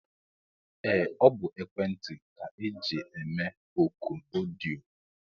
Ee ọ bụ ekwentị ka eji eme ọkụ ọdịyo.